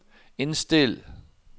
indstil